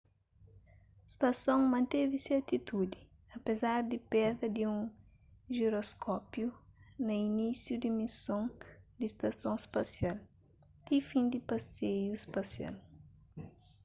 stason manteve se atitudi apézar di perda di un jiroskópiu na inisiu di mison di stason spasial ti fin di paseiu spasial